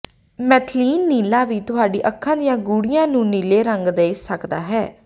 methylene ਨੀਲਾ ਵੀ ਤੁਹਾਡੀ ਅੱਖਾਂ ਦੀਆਂ ਗੂੜ੍ਹਿਆਂ ਨੂੰ ਨੀਲੇ ਰੰਗ ਦੇ ਸਕਦਾ ਹੈ